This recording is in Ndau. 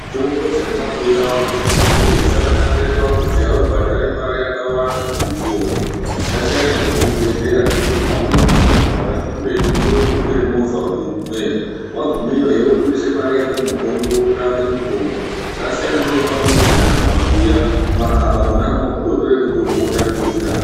Mitombo dzemumabuya umu dzechibhoi dzakanakire pakuti haubhadhari mari yakawanda kuti udzione. Dzasiyana nedzekuzvibhedhlera nekuti pamweni kuzvibhedhlera kwacho kuretu unoda kutokwira movha kuti ugumeyo. Vagumeyohe vobudisa mari yako muhomwe kotsvake mitombo vasiyana neve pamuzvi kana mumabuya mumakaba monamwo kungotora mutombo votanga kudzirapa.